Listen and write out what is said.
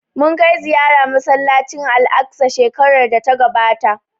Mun kai ziyara masallacin Al'aqsa shekarar da ta gabata